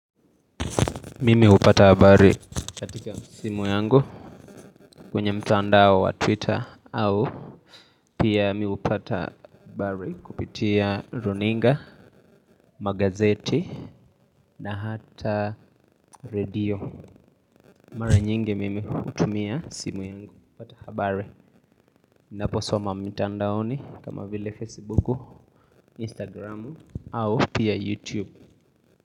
Mimi hupata habari katika simu yangu kwenye mtandao wa twitter au pia mimi hupata habari kupitia runinga, magazeti na hata radio. Mara nyingi mimi hutumia simu yangu kupata habari. Ninaposoma mitandaoni kama vile fasbuku, instakramu au pia yutube.